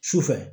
Sufɛ